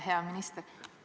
Hea minister!